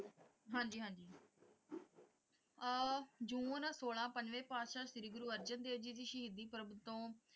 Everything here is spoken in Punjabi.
ਹਾਂਜੀ ਹਾਂਜੀ ਅਹ ਜੂਨ ਸੋਲਾਂ ਪੰਜਵੇਂ ਪਾਤਸ਼ਾਹ ਸ਼੍ਰੀ ਗੁਰੂ ਅਰਜਨ ਦੇਵ ਜੀ ਦੀ ਸ਼ਹੀਦੀ ਪਰਵ ਤੋਂ,